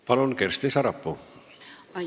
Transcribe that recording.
Palun, Kersti Sarapuu!